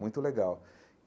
Muito legal.